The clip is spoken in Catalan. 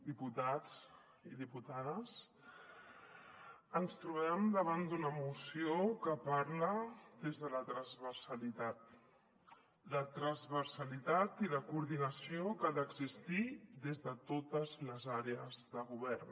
diputats i diputades ens trobem davant d’una moció que parla des de la transversalitat la transversalitat i la coordinació que han d’existir des de totes les àrees de govern